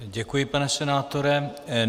Děkuji, pane senátore.